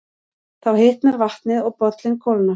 Þá hitnar vatnið og bollinn kólnar.